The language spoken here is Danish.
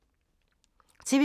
TV 2